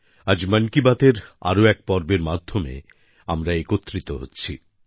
আজ মন কি বাতের আরও এক পর্বের মাধ্যমে আমরা একত্রিত হচ্ছি